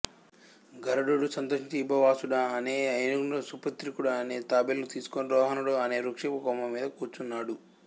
గరుడుడు సంతోషించి విభావసుడు అనే ఏనుగుని సుప్రతీకుడు అనే తాబేలును తీసుకుని రోహణుడు అనే వృక్షపు కొమ్మ మీద కూర్చున్నాడు